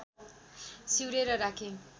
सिउरेर राखे